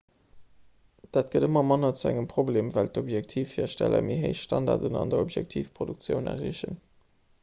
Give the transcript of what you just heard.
dat gëtt ëmmer manner zu engem problem well objektivhiersteller méi héich standarden an der objektivproduktioun erreechen